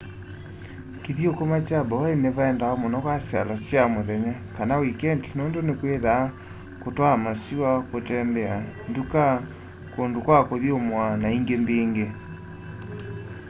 kĩthũkũma kya bowen nĩvaendawa mũno kwa syalo sya mũthenya kana wĩkendĩ nũndũ nĩkwĩthaa kũtwaa masĩwa kũtembea ndũka kũndũ kwa kũthũmũa na ĩngĩ mbĩngĩ